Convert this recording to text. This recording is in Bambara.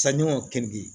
Sanɲɔ keninge